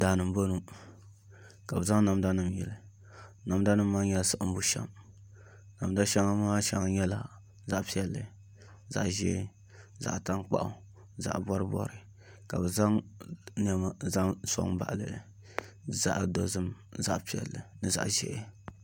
Daani n bɔŋɔ ka bi zaŋ namda nim yili namda nim maa nyɛla siɣim bushɛm namda nim maa shɛŋa nyɛla zaɣ piɛlli zaɣ ʒiɛ zaɣ tankpaɣu zaɣ bɔribɔri ka bi zaŋ niɛma n soŋ n baɣali li li zaɣ piɛlli zaɣ dozim ni zaɣ ʒiɛ